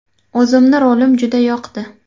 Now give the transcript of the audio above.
O‘zimni rolim juda yoqdi.